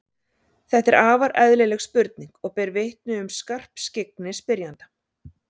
Þetta er afar eðlileg spurning og ber vitni um skarpskyggni spyrjanda.